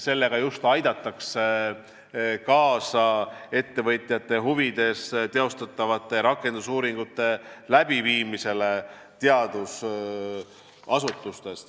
Sellega aidatakse kaasa ettevõtjate huvides tehtavatele rakendusuuringutele teadusasutustes.